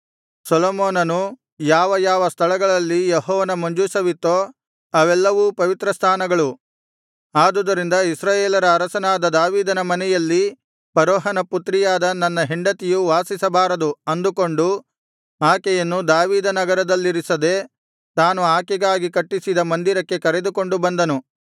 ಸೊಲೊಮೋನನು ಯಾವ ಯಾವ ಸ್ಥಳಗಳಲ್ಲಿ ಯೆಹೋವನ ಮಂಜೂಷವಿತ್ತೋ ಅವೆಲ್ಲವೂ ಪವಿತ್ರಸ್ಥಾನಗಳು ಆದುದರಿಂದ ಇಸ್ರಾಯೇಲರ ಅರಸನಾದ ದಾವೀದನ ಮನೆಯಲ್ಲಿ ಫರೋಹನ ಪುತ್ರಿಯಾದ ನನ್ನ ಹೆಂಡತಿಯು ವಾಸಿಸಬಾರದು ಅಂದುಕೊಂಡು ಆಕೆಯನ್ನು ದಾವೀದನಗರದಲ್ಲಿರಿಸದೆ ತಾನು ಆಕೆಗಾಗಿ ಕಟ್ಟಿಸಿದ ಮಂದಿರಕ್ಕೆ ಕರೆದುಕೊಂಡು ಬಂದನು